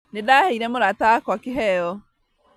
Nĩndaheire mũrata wakwa kĩheo